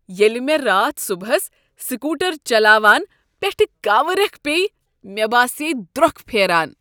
ییٚلہ مےٚ راتھ صبحس سکوٹر چلاوان پیٹھہٕ كاوٕ ریكھ پییہِ، مے باسییہِ دروكھ پھیران ۔